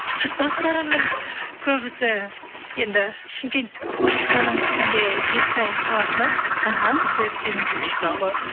достарымның көбісі енді шымкенттік оның ішінде жетісай қаласынан іхі сол себептен